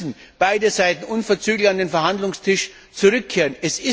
Daher müssen beide Seiten unverzüglich an den Verhandlungstisch zurückkehren.